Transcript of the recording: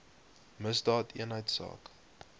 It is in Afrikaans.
misdaadeenheidsaak